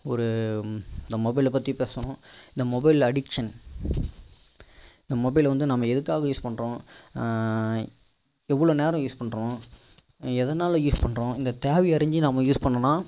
ஒரு இந்த mobile ல பற்றி பேசுறோம் இந்த mobile addiction இந்த mobile வந்து நம்ம எதுக்காக use பண்றோம் ஆஹ் எவ்வளோ நேரம் use பண்றோம் எதனால use பண்றோம் இந்த தேவை அறிந்து நம்ம use பண்ணோம்னா